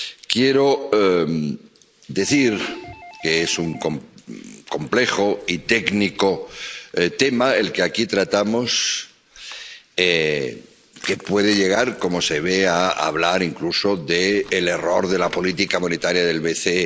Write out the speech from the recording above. Quiero decir que es un complejo y técnico tema el que aquí tratamos, y que se puede llegar ―como se ve― a hablar incluso del error de la política monetaria del BCE.